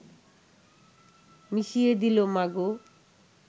মিশিয়ে দিল মা গো